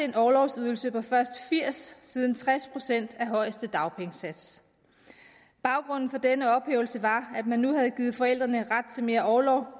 en orlovsydelse på først firs siden tres procent af højeste dagpengesats baggrunden for denne ophævelse var at man nu havde givet forældrene ret til mere orlov